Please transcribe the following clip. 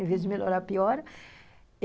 Em vez de melhorar, piora.